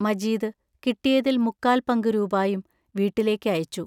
മജീദ് കിട്ടിയതിൽ മുക്കാൽ പങ്കു രൂപായും വീട്ടിലേക്ക് അയച്ചു.